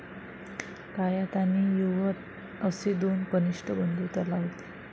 कायात आणि युवत असे दोन कनिष्ठ बंधू त्याला होते.